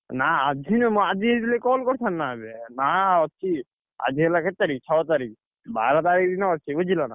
ନା ଆଜି ନୁହଁ ଆଜି ହେଇଥିଲେ call କରିଥାନ୍ତି, ନା ଆଗେ ନା ଅଛି ଆଜି ହେଲା କେତେ ତାରିଖ ଛଅ ତାରିଖ ବାର ତାରିଖ ଦିନ ଅଛି ବୁଝିଲ ନା?